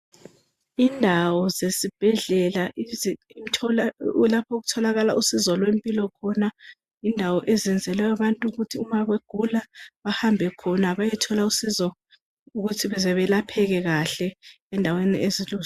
Indawo zesibhedlela lapho okutholakala usizo lwempilo khona zindawo ezenzelwa abantu ukuthi nxa begula bahambe khona bayothola usizo beyelapheke kahle.